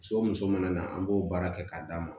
So muso mana na an b'o baara kɛ k'a d'a ma